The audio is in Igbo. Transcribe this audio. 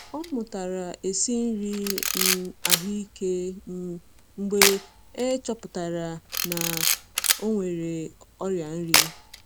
Ọ mụtara esi nri um ahụike um mgbe e chọpụtara na ọ nwere ọrịa nri.